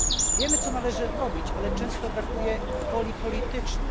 Wiemy, co należy robić, ale często brakuje woli politycznej.